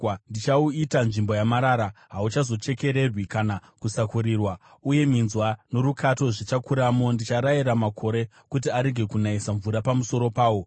Ndichauita nzvimbo yamarara, hauzochekererwi kana kusakurirwa, uye minzwa norukato zvichakuramo. Ndicharayira makore kuti arege kunayisa mvura pamusoro pawo.”